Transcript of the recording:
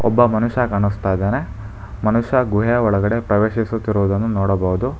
ಒಬ್ಬ ಮನುಷ್ಯ ಕಾಣುಸ್ತಾ ಇದಾನೆ ಮನುಷ್ಯ ಗುಹೆ ಒಳಗಡೆ ಪ್ರವೇಶಿಸುತ್ತಿರುವುದನ್ನು ನೋಡಬಹುದು.